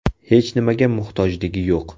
Hech nimaga muhtojligi yo‘q.